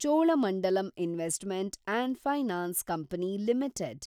Cholamandalam investment and finance company limited